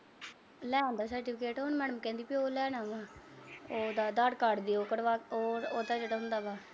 ਲਿਆਂਦਾ certificate ਹੁਣ madam ਕਹਿੰਦੀ ਉਹ ਲੈਣ ਆਉਣਾ। ਉਹਦਾ ਆਧਾਰ ਕਾਰਡ ਦਿਉ ਕਢਵਾ ਕੇ, ਉਹਦਾ ਜਿਹੜਾ ਹੁੰਦਾ ਵਾ।